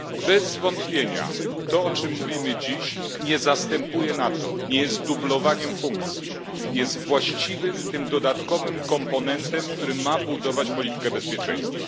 Bez wątpienia to, o czym mówimy dziś, nie zastępuje NATO, nie jest dublowaniem funkcji, jest właściwym, tym dodatkowym komponentem, który ma budować politykę bezpieczeństwa.